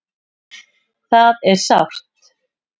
Það er sárt